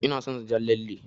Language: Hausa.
Ina son jan lalle.